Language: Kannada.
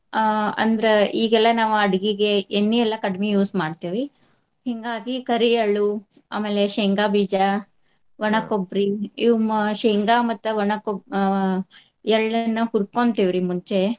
ಆ ಅಂದ್ರ ಈಗೆಲ್ಲಾ ನಾವ ಅಡ್ಗಿಗೆ ಎಣ್ಣಿ ಎಲ್ಲಾ ಕಡಿಮಿ use ಮಾಡ್ತೇವಿ. ಹಿಂಗಾಗಿ ಕರಿಎಳ್ಳು ಆಮೇಲೆ ಶೇಂಗಾ ಬೀಜಾ ಕೊಬ್ರಿ ಇವ ಮ~ ಶೇಂಗಾ ಮತ್ತ ಒಣ ಕೊಬ್~ ಆ ಎಳ್ಳನ್ನ ಹುರ್ಕೊಂತೆವ್ರಿ ಮುಂಚೆ.